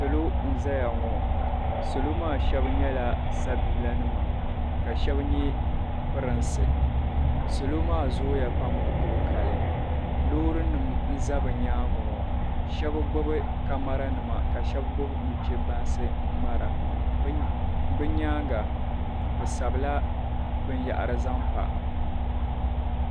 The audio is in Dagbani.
salo n-zaya ŋɔ salo maa shɛba nyɛla sabiila nima ka shɛba nyɛ prinsi salo maa zooi ya pam ku tooi kali loori nima n-za bɛ nyaaga ŋɔ shɛba gbubi kamara nima ka shɛba gbubi nuche baŋsi n-ŋmara bɛ nyaaga bɛ sabila binyɛhiri zaŋ pa.